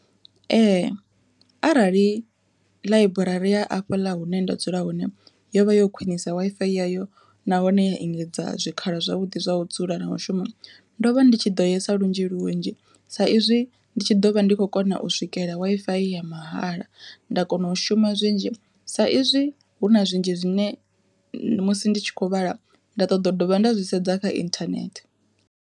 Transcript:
Ee arali ḽaiburari ya afhaḽa hune nda dzula hone yo vha yo khwiṋisa Wi-Fi yayo nahone ya engedza zwikalo zwavhuḓi zwa u dzula na mushumo, ndo vha ndi tshi ḓo yesa lunzhi lunzhi sa izwi ndi tshi ḓovha ndi khou kona u swikelela Wi-Fi ya mahala, nda kona u shuma zwinzhi sa izwi hu na zwinzhi zwine musi ndi tshi kho vhala nda ṱoḓa dovha nda zwi sedza kha inthanethe.